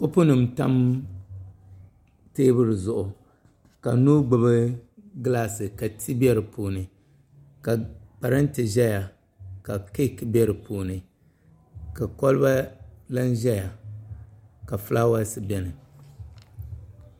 Kopu nim n tam teebuli zuɣu ka yino gbubi gilaasi ka ti bɛ dinni ka parantɛ ʒɛya ka keek bɛ di puuni ka kolba lan ʒɛya ka fulaawaasi bɛ dinni